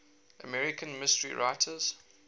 american mystery writers